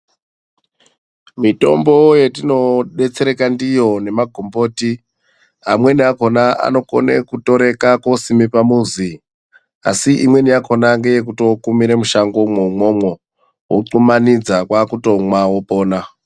Mutombo yetinodetsereka ndiyo nemagomboti, amweni akona anotoreka kunisime pamuzi asi imweni yakona ndeyekutokumire mushango mwona imwomwo voxhumanidza kwakutomwa wopona.